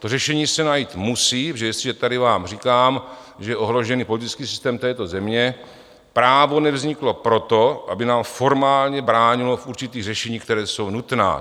To řešení se najít musí, protože jestliže tady vám říkám, že je ohrožený politický systém této země, právo nevzniklo proto, aby nám formálně bránilo v určitých řešeních, která jsou nutná.